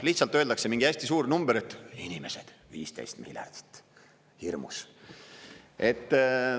Lihtsalt öeldakse mingi hästi suur number, et inimesed – 15 miljardit, hirmus.